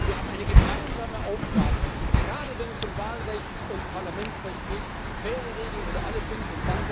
Aber wir haben eine gemeinsame Aufgabe gerade wenn es um Wahlrecht und Parlamentsrecht geht, faire Regeln für alle zu finden.